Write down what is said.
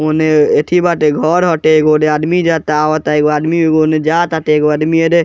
ओने एथी बाटे घर हटे एक ओरे आदमी जाता आवता एगो आदमी ओने जा ताटे एगो आदमी अरे --